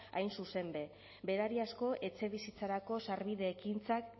hain zuzen be berariazko etxebizitzarako sarbide ekintzak